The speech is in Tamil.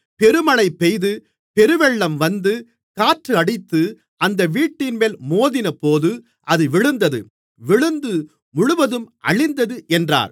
பெருமழை பெய்து பெருவெள்ளம் வந்து காற்று அடித்து அந்த வீட்டின்மேல் மோதினபோது அது விழுந்தது விழுந்து முழுவதும் அழிந்தது என்றார்